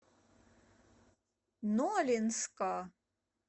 нолинска